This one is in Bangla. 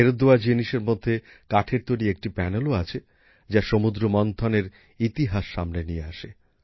ফেরত দেওয়া জিনিসের মধ্যে কাঠের তৈরি একটি প্যানেলও আছে যা সমুদ্রমন্থন এর ইতিহাস সামনে নিয়ে আসে